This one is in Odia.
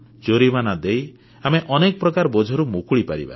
ଜୋରିମାନା ଦେଇ ଆମେ ଅନେକ ପ୍ରକାର ବୋଝରୁ ମୁକୁଳିପାରିବା